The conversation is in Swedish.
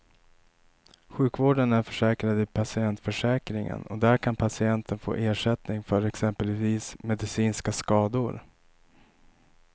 Sjukvården är försäkrad i patientförsäkringen och där kan patienten få ersättning för exempelvis medicinska skador.